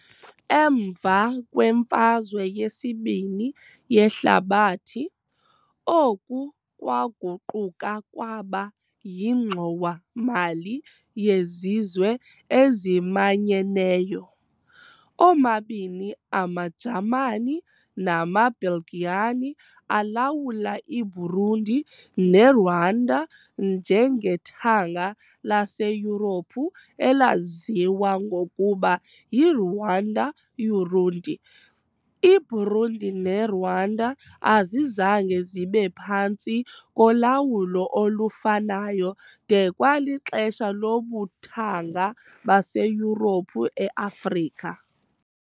Emva kweMfazwe yesiBini yeHlabathi, oku kwaguquka kwaba yiNgxowa-mali yeZizwe eziManyeneyo . Omabini amaJamani namaBelgian alawula iBurundi neRwanda njengethanga laseYurophu elaziwa ngokuba yiRuanda-Urundi . IBurundi neRwanda azizange zibe phantsi kolawulo olufanayo de kwalixesha lobuthanga baseYurophu eAfrika.